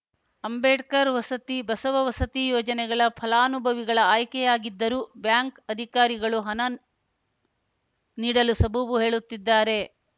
ಅಂಬೇಡ್ಕರ್‌ ವಸತಿ ಬಸವ ವಸತಿ ಯೋಜನೆಗಳ ಫಲಾನುಭವಿಗಳ ಆಯ್ಕೆಯಾಗಿದ್ದರೂ ಬ್ಯಾಂಕ್‌ ಅಧಿಕಾರಿಗಳು ಹನನ್ ನೀಡಲು ಸಬೂಬು ಹೇಳುತ್ತಿದ್ದಾರೆ